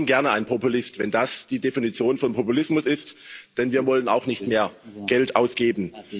Ich bin gerne ein Populist, wenn das die Definition von Populismus ist, denn wir wollen auch nicht mehr Geld ausgeben.